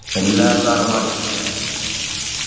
എല്ലാ sir മാരും